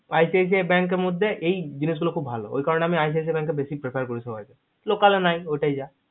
icic bank এর মধ্যেএই জিনিস গুলো ভালো ওই কারণে আমি বেশি icic bank prepare করি সবাই কে local এ নাই ওটাই যা